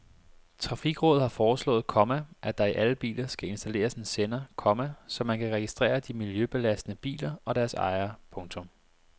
Trafikrådet har foreslået, komma at der i alle biler skal installeres en sender, komma så man kan registrere de miljøbelastende biler og deres ejere. punktum